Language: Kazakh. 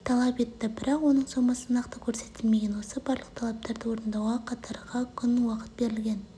талап етті бірақ оның сомасы нақты көрсетілмеген осы барлық талаптарды орындауға қатарға күн уақыт берілген